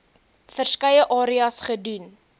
verskeie areas gedoen